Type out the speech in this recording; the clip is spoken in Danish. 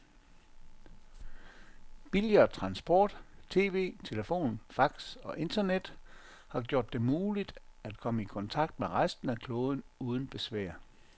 Billigere transport, tv, telefon, fax og internet har gjort det muligt, at komme i kontakt med resten af kloden uden besvær.